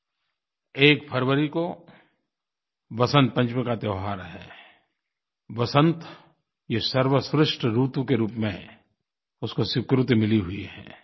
1 फरवरी को वसन्त पंचमी का त्यौहार है वसन्त ये सर्वश्रेष्ठ ऋतु के रूप में उसको स्वीकृति मिली हुई है